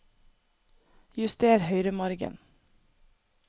Juster høyremargen